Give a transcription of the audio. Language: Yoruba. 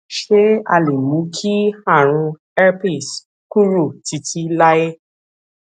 ṣé a lè mú kí àrùn herpes kúrò títí láé